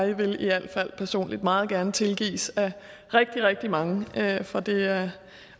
jeg vil i al fald personligt meget gerne tilgives af rigtig rigtig mange for det er